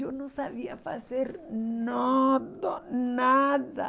Eu não sabia fazer nada, nada.